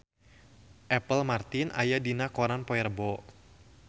Apple Martin aya dina koran poe Rebo